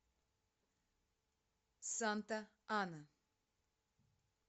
санта ана